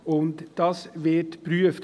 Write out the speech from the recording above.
Und dies wird geprüft.